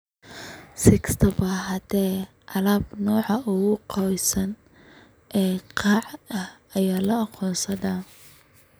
Si kastaba ha ahaatee, laba nooc oo qoys oo CAA ah ayaa la aqoonsaday.